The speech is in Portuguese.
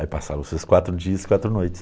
Aí passaram-se os quatro dias e quatro noites.